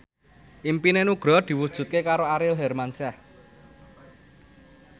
impine Nugroho diwujudke karo Aurel Hermansyah